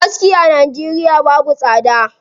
Aski a Najeriya babu tsada.